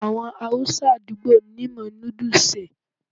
Àwọn Haúsá àdúgbò mi mọ núdù ṣe è.